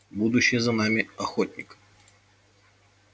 будущее за ними охотник